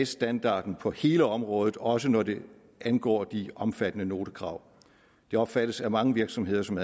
standarden på hele området også når det angår de omfattende notekrav de opfattes af mange virksomheder som